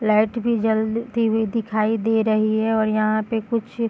light भी जलती हुई दिखाई दे रही है और यहाँ पे कुछ --